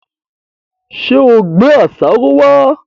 Ṣé ò gbé àṣàrò wá?